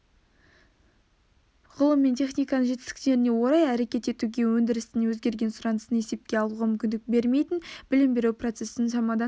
ғылым мен техниканың жетістіктеріне орай әрекет етуге өндірістің өзгерген сұранысын есепке алуға мүмкіндік бермейтін білім беру процесін шамадан